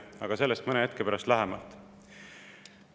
Aga sellest mõne hetke pärast lähemalt.